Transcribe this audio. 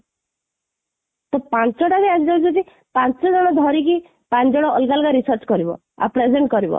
ତ ପାଞ୍ଚଟାରେ ଯଦି ପାଞ୍ଚ ଜଣ ଧରିକି, ପାଞ୍ଚ ଜଣ ଅଲଗା ଅଲଗା research କରିବ, ଆଉ present କରିବ,